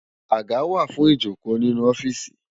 Àgá wá fún ijókó ninú òfìsí